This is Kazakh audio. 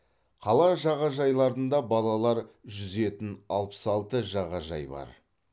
қала жағажайларында балалар жүзетін алпыс алты жағажай бар